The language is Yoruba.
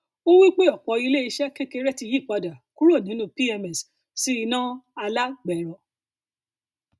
ó wí pé ọpọ iléiṣẹ kekere ti yí padà kúrò nínú pms sí iná alágbẹrọ